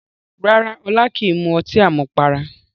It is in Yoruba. Rárá Ọlá kìí mu ọtí àmupara